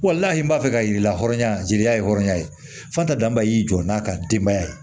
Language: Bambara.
n'a m'a fɛ ka yir'i la hɔrɔnya jeliya ye hɔrɔnya ye fatan danba y'i jɔ n'a ka denbaya ye